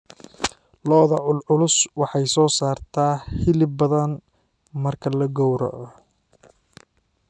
Lo'da culculus waxay soo saartaa hilib badan marka la gowracayo.